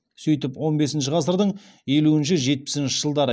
сөйтіп он бесінші ғасырдың елуінші жетпісінші жылдары